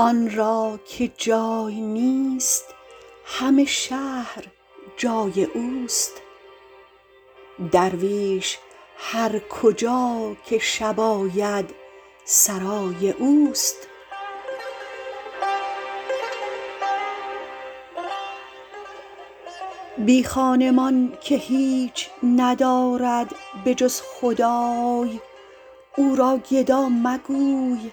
آن را که جای نیست همه شهر جای اوست درویش هر کجا که شب آید سرای اوست بی خانمان که هیچ ندارد به جز خدای او را گدا مگوی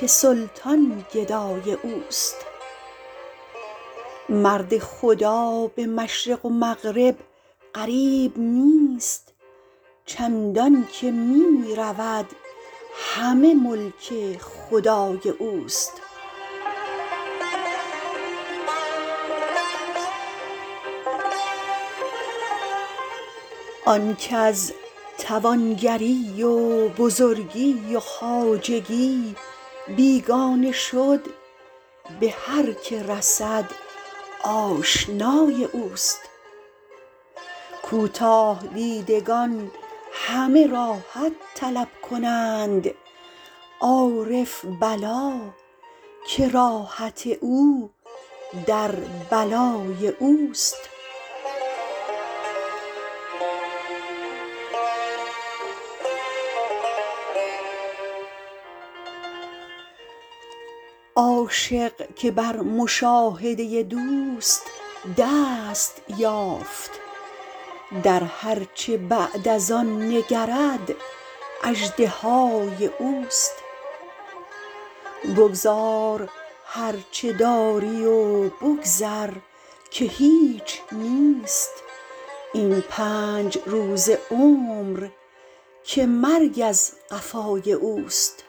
که سلطان گدای اوست مرد خدا به مشرق و مغرب غریب نیست چندان که می رود همه ملک خدای اوست آن کز توانگری و بزرگی و خواجگی بیگانه شد به هر که رسد آشنای اوست کوتاه دیدگان همه راحت طلب کنند عارف بلا که راحت او در بلای اوست عاشق که بر مشاهده دوست دست یافت در هر چه بعد از آن نگرد اژدهای اوست بگذار هر چه داری و بگذر که هیچ نیست این پنج روزه عمر که مرگ از قفای اوست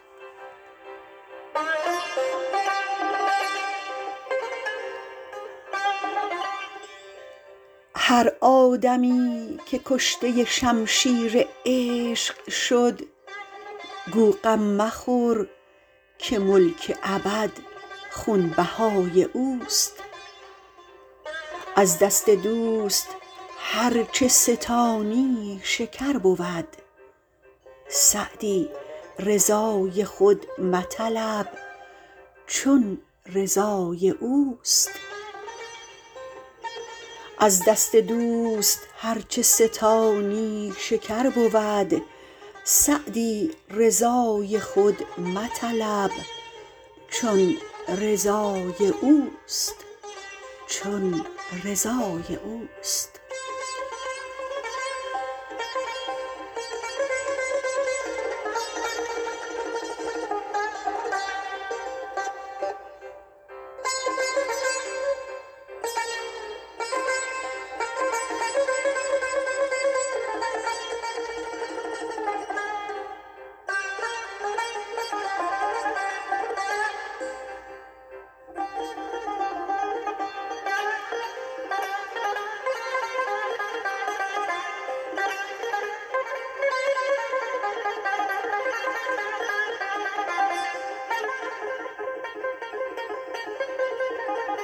هر آدمی که کشته شمشیر عشق شد گو غم مخور که ملک ابد خونبهای اوست از دست دوست هر چه ستانی شکر بود سعدی رضای خود مطلب چون رضای اوست